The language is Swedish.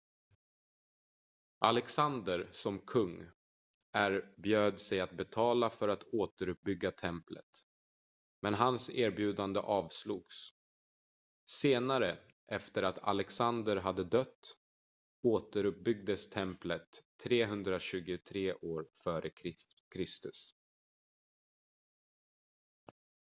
alexander som kung erbjöd sig att betala för att återuppbygga templet men hans erbjudande avslogs senare efter att alexander hade dött återuppbyggdes templet 323 f.kr